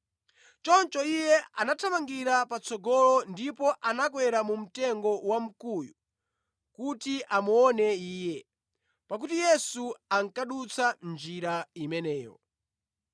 Choncho iye anathamangira patsogolo ndipo anakwera mu mtengo wamkuyu kuti amuone Iye, pakuti Yesu ankadutsa njira imeneyo.